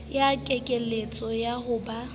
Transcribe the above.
ya kekeletso ya ho ba